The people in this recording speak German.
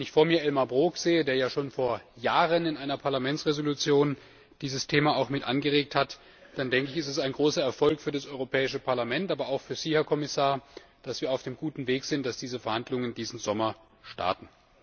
Wenn ich vor mir Elmar Brok sehe, der ja schon vor Jahren in einer Entschließung des Parlaments dieses Thema auch mitangeregt hat, dann denke ich, ist es ein großer Erfolg für das Europäische Parlament, aber auch für Sie, Herr Kommissar, dass wir auf dem guten Weg sind, dass diese Verhandlungen diesen Sommer starten.